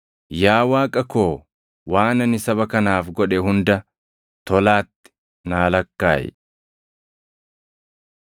Yaa Waaqa koo waan ani saba kanaaf godhe hunda tolaatti naa lakkaaʼi.